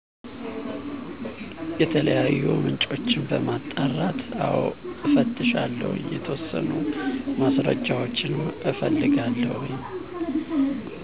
የተለያዩ ምንጮችን በማጣራት አዎ እፈትሻለሁ የተወሰኑ ማስረጃዎች እፈልጋለሁ